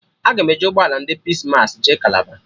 Aga m eji ụgbọ ala ndị Pis massị jee Kalaba